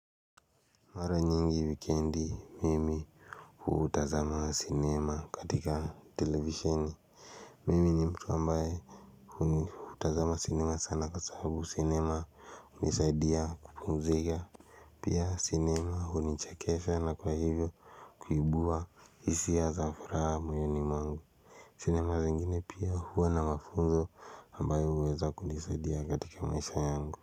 Mwara nyingi wikendi mimi huu utazama cinema katika televisioni Mimi ni mtu ambaye huu utazama cinema sana kwa sababu cinema unisaidia kupumzika Pia cinema hunichekesha sana kwa hivyo kuibua hisia za furaha moyoni mwangu cinema zingine pia huwa na mafunzo ambaye huweza kunisaidia katika maisha yangu.